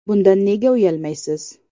Bundan nega uyalmaysiz?